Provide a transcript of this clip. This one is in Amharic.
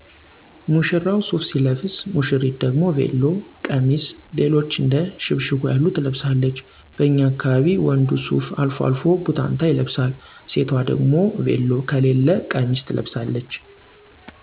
ሙሽራው ሱፍ ሲለብስ ውሽሪት ደሞ ቤሎ፣ ቀሚስ ሌሎችም እንደ ሽብሽቦ ያሉ ትለብሳለች። በኛ አካባቢ ወንዱ ሱፍ አልፎ አልፎ ቡታንታ ይለብሳል። ሴቷ ደሞ ቤሎ ከለያ ቀሚስ ትለቅሳለች